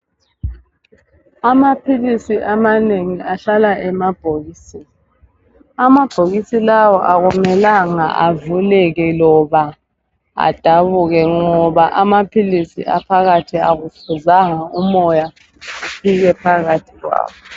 Amaphilisi amanengi ahlala emabhokisini. Amabhokisi lawa akumelanga avuleke loba adabuke ngoba amaphilisi aphakathi akufuzanga umoya ufike phakathi kwawo.